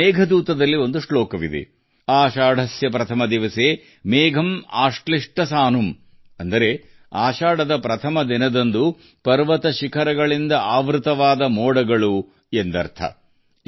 ಮೇಘದೂತಂನಲ್ಲಿ ಒಂದು ಶ್ಲೋಕವಿದೆ ಆಷಾಢಸ್ಯ ಪ್ರಥಮ ದಿವಸೆ ಮೇಘಂ ಆಶ್ಲಿಷ್ಟ ಸನುಮ್ ಅಂದರೆ ಆಷಾಢದ ಮೊದಲ ದಿನ ಮೋಡಗಳಿಂದ ಆವೃತವಾದ ಪರ್ವತ ಶಿಖರಗಳು ಎಂದು